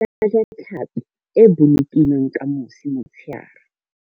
Re ka ja tlhapi e bolokilweng ka mosi motsheare.